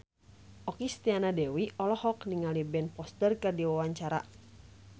Okky Setiana Dewi olohok ningali Ben Foster keur diwawancara